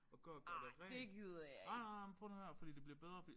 Og gå og gøre det rent ej nej nej men prøv nu at høre her fordi det bliver bedre fordi